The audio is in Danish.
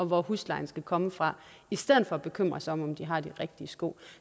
hvor huslejen skal komme fra i stedet for at bekymre sig om om de har de rigtige sko